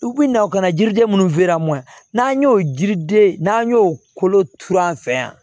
U bi na u ka na yiriden minnu n'an y'o yiriden n'an y'o kolo turan fɛ yan